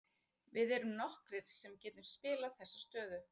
Við erum nokkrir sem getum spilað þessa stöðu.